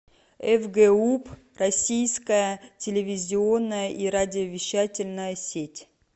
фгуп российская телевизионная и радиовещательная сеть